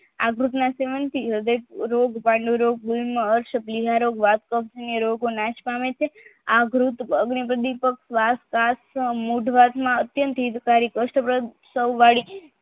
આંતરિક સેવન થી હૃદય રોગ પાંડુરોગ